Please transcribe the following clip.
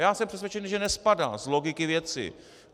Já jsem přesvědčen, že nespadá - z logiky věci.